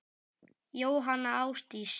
Jóhanna Ásdís.